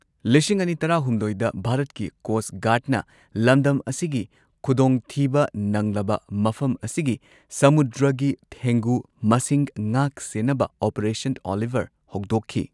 ꯂꯤꯁꯤꯡ ꯑꯅꯤ ꯇꯔꯥꯍꯨꯝꯗꯣꯏꯗ ꯚꯥꯔꯠꯀꯤ ꯀꯣꯁꯠ ꯒꯥꯔꯗꯅ ꯂꯝꯗꯝ ꯑꯁꯤꯒꯤ ꯈꯨꯗꯣꯡꯊꯤꯕ ꯅꯪꯂꯕ ꯃꯐꯝ ꯑꯁꯤꯒꯤ ꯁꯃꯨꯗ꯭ꯔꯒꯤ ꯊꯦꯡꯒꯨ ꯃꯁꯤꯡ ꯉꯥꯛ ꯁꯦꯟꯅꯕ ꯑꯣꯄꯔꯦꯁꯟ ꯑꯣꯂꯤꯚꯔ ꯍꯧꯗꯣꯛꯈꯤ꯫